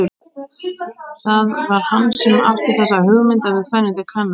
Það var hann sem átti þessa hugmynd að við færum til Kanarí.